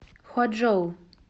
хуачжоу